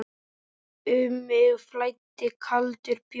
Um mig flæddi kaldur bjór.